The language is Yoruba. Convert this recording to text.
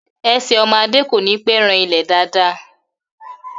Ẹsẹ̀ ọmọ Adé kò ní pẹ́ ran ilẹ̀ dáàda